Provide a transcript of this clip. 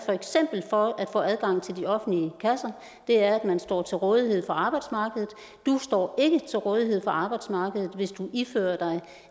for at få adgang til de offentlige kasser er at man står til rådighed for arbejdsmarkedet du står ikke til rådighed for arbejdsmarkedet hvis du ifører dig